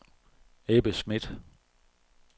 Ebbe Smith